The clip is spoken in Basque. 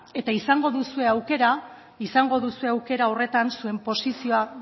eta izango duzue aukera horretan zuen posizioa